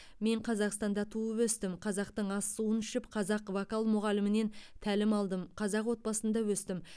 мен қазақстанда туып өстім қазақтың ас суын ішіп қазақ вокал мұғалімінен тәлім алдым қазақ отбасында өстім